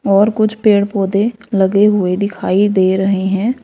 और कुछ पेड़ पौधे लगे हुए दिखाई दे रहे हैं।